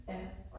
Ja